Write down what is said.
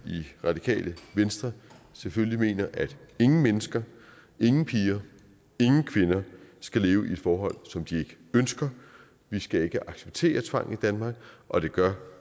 radikale venstre selvfølgelig mener at ingen mennesker ingen piger ingen kvinder skal leve i et forhold som de ikke ønsker vi skal ikke acceptere tvang i danmark og det gør